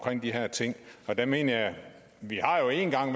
de her ting jeg mener vi har jo en gang